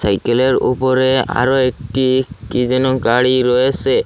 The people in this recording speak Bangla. চাইকেলের ওপরে আরো একটি কি যেন গাড়ি রয়েসে।